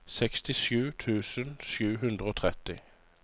sekstisju tusen sju hundre og tretti